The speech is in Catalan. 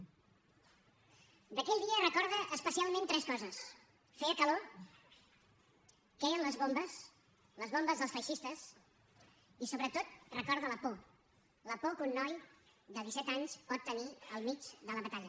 d’aquell dia recorda especialment tres coses feia calor queien les bombes les bombes dels feixistes i sobretot recorda la por la por que un noi de disset anys pot tenir al mig de la batalla